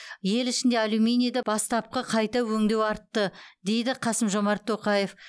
ел ішінде алюминийді бастапқы қайта өңдеу артты деді қасым жомарт тоқаев